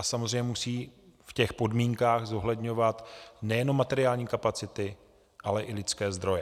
A samozřejmě musí v těch podmínkách zohledňovat nejenom materiální kapacity, ale i lidské zdroje.